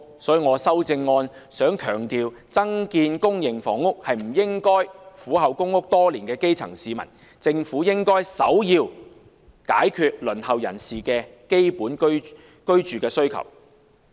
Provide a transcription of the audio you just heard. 所以，我的修正案強調，增建公營房屋是不應該犧牲苦候公屋多年的基層市民，政府應首要解決輪候人士的基本居住需要。